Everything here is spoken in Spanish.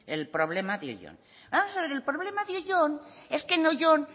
el problema de oyón vamos a ver el problema de oyón es que en oyón